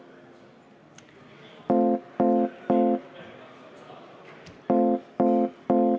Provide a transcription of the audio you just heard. Nii, kaks minutit on möödas.